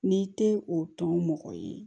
N'i tɛ o tɔn mɔgɔ ye